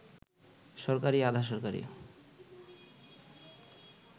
সরকারি, আধা-সরকারি